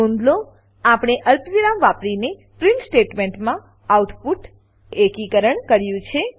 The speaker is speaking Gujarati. નોંધ લો આપણે અલ્પવિરામ વાપરીને પ્રીંટ સ્ટેટમેંટમાં આઉટપુટ કોન્કેટેનેટેડ એકીકરણ કર્યું છે